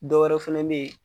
Dɔ wɛrɛ fɛnɛ be yen